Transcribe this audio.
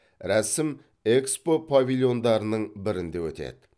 рәсім экспо павильондарының бірінде өтеді